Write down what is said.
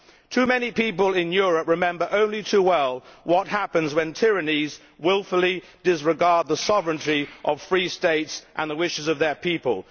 Too many people in Europe remember only too well what happens when tyrannies wilfully disregard the sovereignty of free states and the wishes of their peoples.